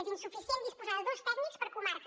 és insuficient disposar de dos tècnics per comarca